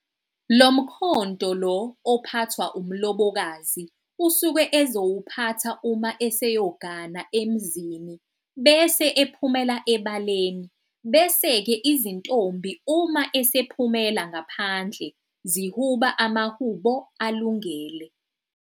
Lo mkhonto lo ophathwa umlobokazi usuke ezowuphatha uma eseyogana emzini, bese ephumela ebaleni, beseke izintombi uma esephumela ngaphandle zihuba amahubo alungele.